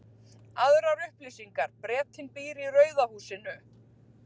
Aðrar upplýsingar: Bretinn býr í rauða húsinu.